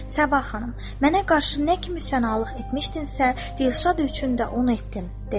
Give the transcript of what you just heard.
Səbah xanım: "Mənə qarşı nə kimi fənalıq etmişdinsə, Dilşad üçün də onu etdim" dedi.